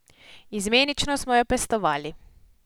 Izmenično smo jo pestovali.